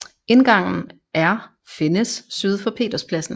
Indgangen er findes syd for Peterspladsen